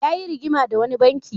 Yayi rigima da wani banki.